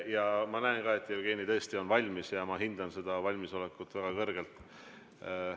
Ja ma näen ka, et Jevgeni on täiesti valmis ja ma hindan seda valmisolekut väga kõrgelt.